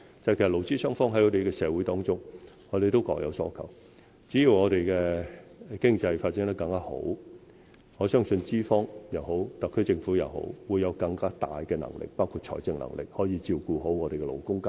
其實，勞資雙方在社會上各有所求，只要我們的經濟有更好的發展，相信不論是特區政府，抑或是資方，均會有更大的能力，包括財政能力，照顧好勞工階層。